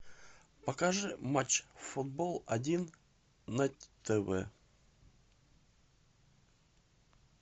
покажи матч футбол один на тв